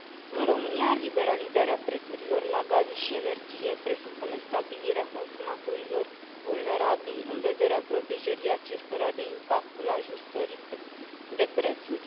În România, liberalizarea prețurilor la gaze și energie presupune stabilirea consumatorilor vulnerabili în vederea protejării acestora de impactul ajustării de prețuri.